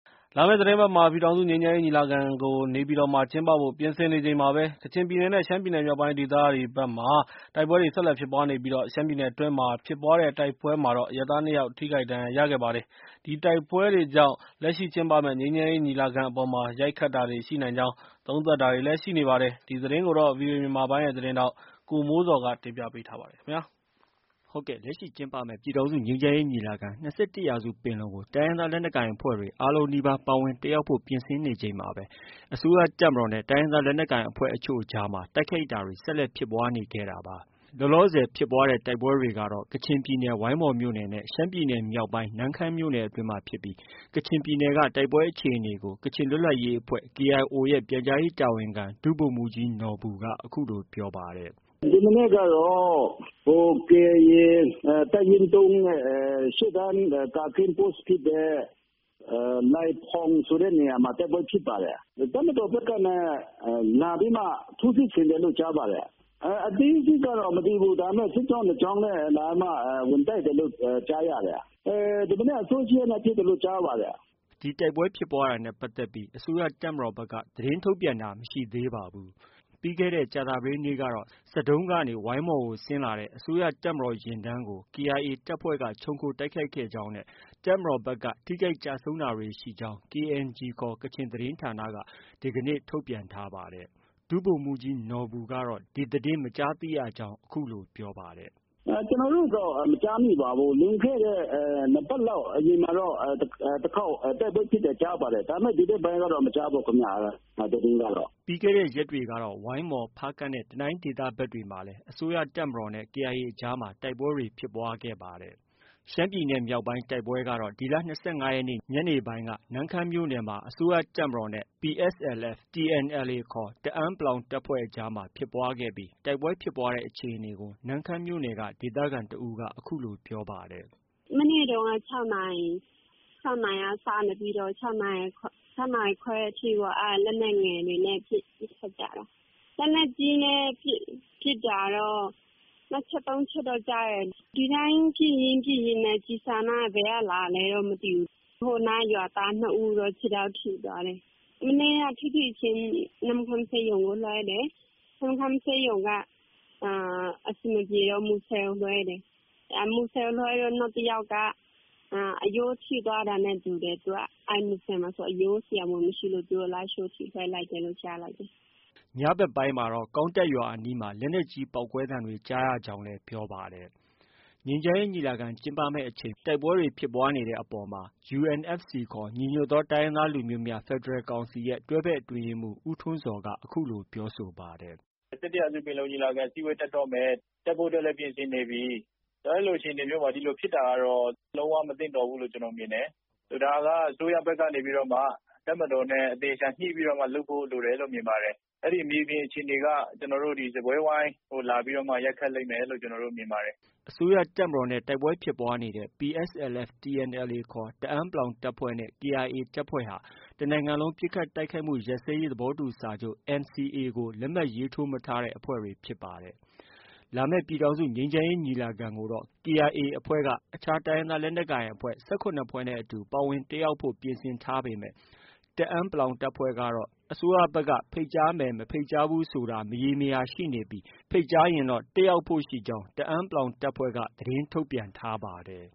လာမယ့်သီတင်းပတ်မှာ ပြည်ထောင်စုငြိမ်းချမ်းရေးညီလာခံကို နေပြည်တော်မှာ ကျင်းပဖို့ ပြင်ဆင်နေချိန်မှာပဲ ကချင်ပြည်နယ်နဲ့ ရှမ်းပြည်နယ်မြောက် ပိုင်း ဒေသဖက်တွေမှာ တိုက်ပွဲတွေ ဆက်လက်ဖြစ်ပွားနေပြီး ရှမ်းပြည်နယ် အတွင်းမှာ ဖြစ်ပွားတဲ့ တိုက်ပွဲမှာတော့အရပ်သား၂ယောက် ထိခိုက် ဒဏ်ရာရခဲ့ပါတယ်။ ဒီတိုက်ပွဲ တွေကြောင့် လက်ရှိကျင်းပမယ့် ငြိမ်းချမ်းရေး ညီလာခံအပေါ်မှာ ရိုက်ခတ်တာတွေ ရှိနိုင်ကြောင်း သုံးသပ်တာတွေလည်း ရှိနေပါတယ်။ ဒီသတင်းကိုတော့ ဗွီအိုအေမြန်မာပိုင်း ရဲ့သတင်းထောက် ကိုမိုးဇော်က တင်ပြထားပါတယ်။ လက်ရှိကျင်းပမယ့် ပြည်ထောင်စုငြိမ်းချမ်းရေးညီလာခံ-၂၁ရာစုပင်လုံကို တိုင်းရင်းသားလက်နက်ကိုင် အဖွ့ဲတွေ အားလုံးနီးပါး ပါဝင် တက်ရောက် ဖို့ ပြင်ဆင်နေချိန်မှာပဲ အစိုးရတပ်မတော်နဲ့ တိုင်းရင်းသား လက်နက်ကိုင် အဖွဲ့ အချို့အကြားမှာ တိုက်ခိုက်တာတွေ ဆက်လက်ဖြစ်ပွားခဲ့တာဖြစ်ပါတယ်။ လောလောဆည်ဖြစ်ပွားတဲ့ တိုက်ပွဲတွေကတော့ ကချင်ပြည်နယ်၊ ဝိုင်းမော်မြို့နယ်နဲ့ ရှမ်းပြည်နယ် မြောက်ပိုင်း နမ့်ခမ်းမြို့နယ်အတွင်းမှာဖြစ်ပြီး ကချင်ပြည်နယ်က တိုက်ပွဲ အခြေအနေကို ကချင်လွတ်လပ်ရေးအဖွဲ့ KIO ရဲ့ ပြန်ကြားရေးတာဝန်ခံ ဒုဗိုလ်မှူးကြီးနော်ဘူက အခုလို ပြောပါတယ်။ "ဒီမနက်ကတော့ ကေအိုင်အေ တပ်ရင်း နဲ့ ရှေ့တန်း ကာကင်းပိုး ဖြစ်တဲ့ နိုင်ဖွန် ဆိုတဲ့နေရာမှာ တိုက်ပွဲဖြစ်ပါတယ်။ တပ်မတော်ဘက်က လာပြီးမှ ထိုးစစ်ဆင်တယ် လို့ ကြားပါတယ်။ အသေးစိတ်တော့ မသိဘူး ဒါပေမဲ့ စစ်ကြောင်းနှစ်ကြောင်းနဲ့ လာပြီးမှ ဝင်တိုက်တယ်လို့ကြားရတယ်။ ဒီမနက် အစောကြီးက ဖြစ်တယ်လို့ ကြားပါတယ်။" ဒီတိုက်ပွဲဖြစ်ပွားတာနဲ့ ပတ်သက်ပြီး အစိုးရတပ်မတော်ဘက်က သတင်း ထုတ်ပြန်တာ မရှိသေးပါဘူး။ ပြီးခဲ့တဲ့ ကြာသပတေးနေ့ကတော့ ဆဒုံးကနေ ဝိုင်းမော်ကို ဆင်းလာတဲ့ အစိုးရ တပ်မတော် ယာဉ်တန်းကို KIA တပ်ဖွဲ့က ခြုံခိုတိုက်ခိုက်ခဲ့ကြောင်းနဲ့ တပ်မတော်ဘက်က ထိခိုက် ကျဆုံးတာတွေ ရှိကြောင်း KNG ခေါ် ကချင် သတင်းဌာနက ဒီနေ့ဖော်ပြထားပါတယ်။ ဒုဗိုလ်မှူးကြီးနော်ဘူကတော့ ဒီသတင်း မကြားသိရကြောင်း အခုလို ပြောပါတယ်။ " ကျနော်တို့တော့ မကြားမိပါဘူး။ လွန်ခဲ့တဲ့နှစ်ပတ်လောက် အရင်ကတော့ တိုက်ပွဲဖြစ်တယ်ကြားပါတယ်။ ဒါပေမဲ့ ဒီဘက်ပိုင်းကတော့ မကြားဘူး ခင်ဗျ။ ဒီသတင်းကတော့။" ပြီးခဲ့တဲ့ရက်တွေကတော့ ဝိုင်းမော်၊ဖားကန့်နဲ့ တနိုင်းဒေသဘက်တွေမှာလည်း အစိုးရတပ်မတော်နဲ့ KIAအကြား မှာ တိုက်ပွဲတွေ ဖြစ်ပွားခဲ့ပါတယ်။ ရှမ်းပြည်နယ်မြောက်ပိုင်း တိုက်ပွဲကတော့ ဒီလ ၂၅ရက်နေ့ညနေပိုင်းက နမ့်ခမ်းမြို့နယ်မှာ အစိုးရတပ်မတော်နဲ့ PSLF/ TNLA ခေါ် တအာန်း တပ်ဖွဲ့အကြား ဖြစ်ပွားခဲ့ပြီး တိုက်ပွဲ ဖြစ်ပွားတဲ့ အခြေအနေကို နမ့်ခမ်းမြို့နယ်က ဒေသခံတဦးက အခုလို ပြောပါတယ်။ "မနေ့တုန်းက ခြောက်နာရီလောက်ကစပြီးတော့ ခြောက်နာရီခွဲအထိပေါ့ လက်နက်ငယ် အနေနဲ့ ပစ်ကြတာ။ လက်နက်ကြီးနဲ့ ပစ်တာတော့ နှစ်ချက်၊ သုံးချက်တော့ ကြားတယ်။ ဒီအတိုင်း ပစ်ရင်း၊ ပစ်ရင်းနဲ့ ကျည်ဆံက ဘယ်ကလာလဲတော့ မသိဘူး။ ရွာသားနှစ်ဦးတော့ ခြေထောက် ထိသွားတယ်။ ဖြစ်ဖြစ်ချင်း နမ့်ခမ်းဆေးရုံကို လွှဲတယ်။ နမ့်ခမ်းဆေးရုံက အဆင်မပြေတော့ မူဆယ်ဆေးရုံကို လွှဲတယ်။ မူဆယ်ကို လွှဲတော့ နောက်တယောက်က အရိုးထိသွားတာနဲ့တူတယ်။ သူက မူဆယ်မှာ အရိုးဆရာဝန်ကြီး မရှိလို့ လားရှိုးအထိ လွှဲလိုက်တယ်လို့ပြောတယ်။" ညဖက်ပိုင်းမှာတော့ ကောင်းတပ်ရွာအနီးမှာ လက်နက်ကြီးပေါက်ကွဲ သံတွေကြား ရကြောင်းလည်း ပြောပါတယ်။ ငြိမ်းချမ်းရေးညီလာခံ ကျင်းပမယ့်အချိန်မှာ အခုလို တိုက်ပွဲတွေဖြစ်ပွားနေတဲ့ အပေါ် မှာတော့ UNFC ခေါ် ညီညွတ်သော တိုင်းရင်းသားလူမျိုးများ ဖက်ဒရယ်ကောင်စီ ရဲ့ တွဲဘက်အတွင်းရေးမှူး ဦးထွန်းဇော်က အခုလို ပြောဆိုပါတယ်။ " ပင်လုံညီလာခံ အစည်းအဝေးတက်တော့မယ်၊ တက်ဖို့အတွက် လည်း ပြင်ဆင်နေပြီ။ အဲ့လို အခြေအနေမျိုးမှာ ဒီလိုဖြစ်တာကတော့ လုံးဝ မသင့်တော်ဘူးလို့ ကျနော်မြင်တယ်။ ဒါက အစိုးရဘက်ကနေပြီးတော့မှ တပ်မတော်နဲ့ အသေအချာညှိပြီးတော့မှ လုပ်ဖို့ လိုတယ်လို့ မြင်ပါတယ်။ အဲ့ဒီ့မြေပြင်အခြေအနေက ကျနော်တို့ စားပွဲဝိုင်းကို လာပြီးရိုက်ခတ်လိမ့်မယ်လို့ ကျနော်တို့မြင်ပါတယ်။" အစိုးရတပ်မတော်နဲ့ တိုက်ပွဲဖြစ်ပွားနေတဲ့ PSLF/TNLA ခေါ် တအာန်း တပ်ဖွဲ့နဲ့ KIAတပ်ဖွဲ့ဟာ တနိုင်ငံလုံး ပစ်ခတ်တိုက်ခိုက်မှု ရပ်စဲရေးသဘောတူစာချုပ် NCA ကို လက်မှတ်ရေးထိုးမထား တဲ့ အဖွဲ့တွေဖြစ်ပါတယ်။ လာမယ့် ပြည်ထောင်စု ငြိမ်းချမ်းရေးညီလာခံကိုတော့ KIAအဖွဲ့က အခြားတိုင်းရင်းသားလက်နက်ကိုင်အဖွဲ့ ၁၇ဖွဲ့နဲ့အတူ ပါဝင်တက်ရောက်ဖို့ ပြင်ဆင်ထားပေမဲ့ တအာန်း တပ်ဖွဲ့ကတော့ ဖိတ်ကြားမယ် မဖိတ်ကြားဘူးဆိုတာ မရေမရာရှိနေပြီး ဖိတ်ကြားရင်တော့ တက်ရောက်ဖို့ရှိကြောင်း တအာန်း တပ်ဖွဲ့က သတင်းထုတ်ပြန်ထားပါတယ်